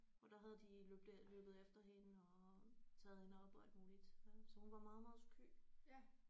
Og der havde de løbet løbet efter hende og taget hende op og alt muligt øh så hun var meget meget sky